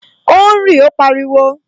O ń rí! Ó pariwo